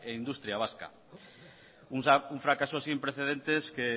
industria vasca un fracaso sin precedentes que